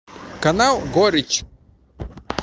канал горечь